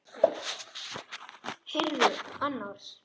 Heyrðu annars.